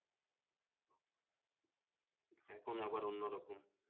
এখন আবার অন্যরকম